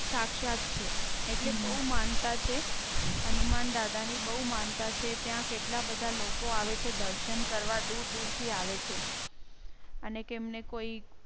સાક્ષાત છે એટલે બહુ માનતા છે. હનુમાનદાદા ની બહુ માનતા છે ત્યાં કેટલા બધા લોકો આવે છે? દર્શન કરવા દૂર દૂર થી આવે છે અનેક એમ ને કોઈ